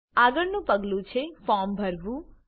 આગળનું પગલું છે ફોર્મ ભરવું